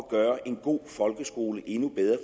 gøre en god folkeskole endnu bedre